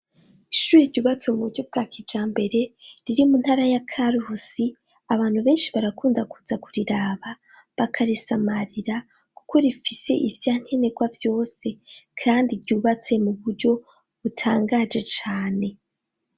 Ishure ryubatse mu buryo bwa kijambere riri mu ntara ya Karuhusi, abantu benshi barakunda kuza kuriraba bakarisamarira kuko rifise ivyankenegwa vyose kandi ryubatse mu buryo butangaje cane.